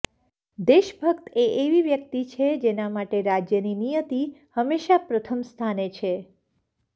દેશભક્ત એ એવી વ્યક્તિ છે જેના માટે રાજ્યની નિયતિ હંમેશા પ્રથમ સ્થાને છે